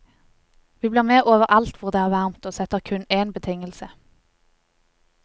Vi blir med overalt hvor det er varmt, og setter kun en betingelse.